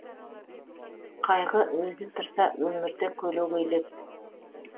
қайғы өзі тұрса өмірді көлегейлеп